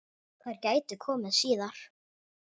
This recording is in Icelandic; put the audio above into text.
Þær gætu komið síðar.